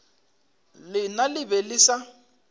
lena le be le sa